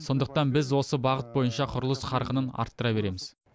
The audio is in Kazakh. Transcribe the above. сондықтан біз осы бағыт бойынша құрылыс қарқынын арттыра береміз